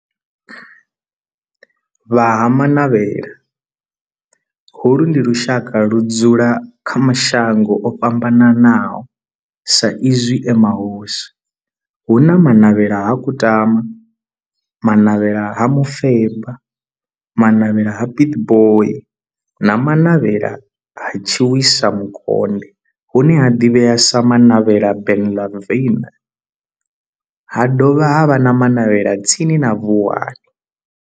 Vha Ha-Manavhela, holu ndi lushaka ludzula kha mashango ofhambananaho sa izwi e mahosi, hu na Manavhela ha Kutama, Manavhela ha Mufeba, Manavhela ha Pietboi na Manavhela ha Tshiwisa Mukonde hune ha ḓivhea sa Manavhela Benlavin, ha dovha havha na Manavhela tsini na Vuwani.